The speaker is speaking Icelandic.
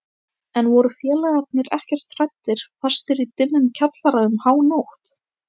En voru félagarnir ekkert hræddir fastir í dimmum kjallara um hánótt?